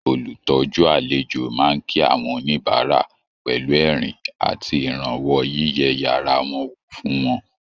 Olùtọ́jú àlejò máa ń kí àwọn oníbàárà pẹ̀lú ẹ̀rín àti ìrànwọ́ yíyẹ yàrá wọn wò fún wọn